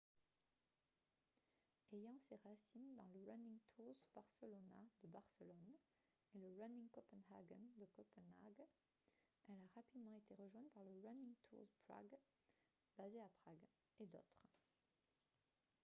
ayant ses racines dans le running tours barcelona de barcelone et le running copenhagen de copenhague elle a rapidement été rejointe par le running tours prague basé à prague et d'autres